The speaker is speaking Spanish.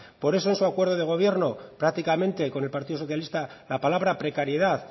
por eso en su acuerdo de gobierno prácticamente con el partido socialista la palabra precariedad